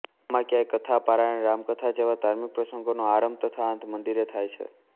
ગામમાં ક્યાય કથા પારાયણ રામકથા જેવા ધાર્મિક પ્રસંગોનો આરંભ તથા અંત મંદિરે થાય છે